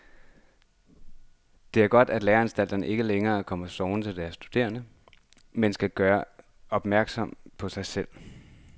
Det er godt, at læreanstalterne ikke længere kan komme sovende til deres studerende, men skal gøre opmærksom på sig selv.